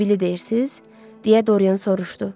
Sibili deyirsiz, deyə Dorian soruşdu.